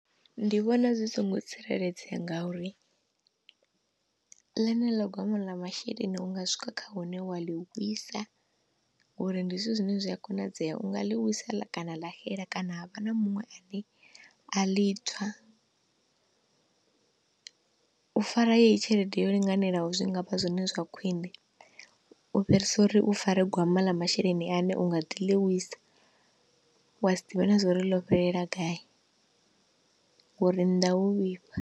Ndi vhona zwi songo tsireledzea nga uri ḽeneḽo gwama ḽa masheleni unga swika kha hune wa ḽi wisa ngori ndi zwithu zwine zwi a konadzea unga ḽi wisa ḽa kana ḽa xela kana ha vha na muṅwe a ḽi tswa. U fara yeyi tshelede yo linganelaho zwi ngavha zwone zwa khwiṋe u fhirisa uri u fare gwama ḽa masheleni ane u nga ḓi lwisa, wa si ḓivhe na zwori ḽo fhelela gayi ngori nnḓa ho vhifha.